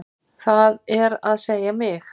Það er að segja mig.